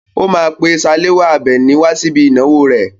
ó máa pè Salawa Àbẹ̀ní wá síbi ìnáwó rẹ̀.